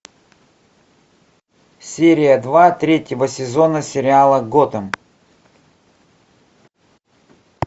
серия два третьего сезона сериала готэм